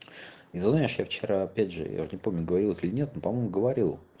и знаешь я вчера опять же я уже не помню говорил это или нет но по-моему говорил